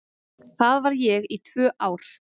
Þar var ég í tvö ár.